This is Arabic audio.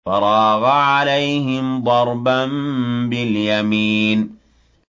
فَرَاغَ عَلَيْهِمْ ضَرْبًا بِالْيَمِينِ